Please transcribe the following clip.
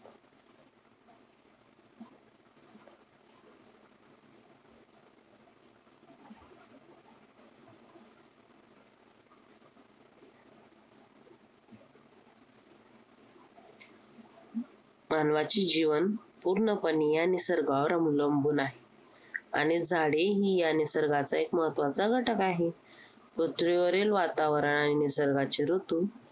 मानवाचे जीवन पूर्णपणे या निसर्गावर अवलंबून आहे. आणि झाडे ही या निर्सगाचा महत्त्वाचा घटक आहेत. पृथ्वीवरील वातावरण, निसर्गाचे ऋतू